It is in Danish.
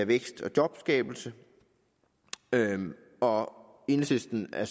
vækst og jobskabelse og enhedslisten er